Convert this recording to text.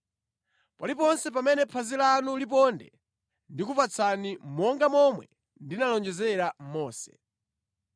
Paliponse pamene phazi lanu liponde, ndikupatsani monga momwe ndinalonjezera Mose.